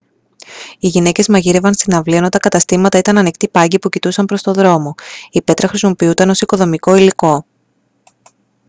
οι γυναίκες μαγείρευαν στην αυλή ενώ τα καταστήματα ήταν ανοικτοί πάγκοι που κοιτούσαν προς τον δρόμο η πέτρα χρησιμοποιούταν ως οικοδομικό υλικό